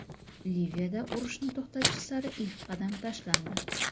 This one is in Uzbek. Liviyada urushni to‘xtatish sari ilk qadam tashlandi.